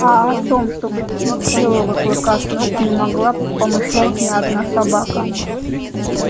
а о том чтобы сбить белого клыка с ног не могла помышлять ни одна собака